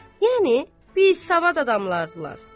Yəni biz savad adamlardılar.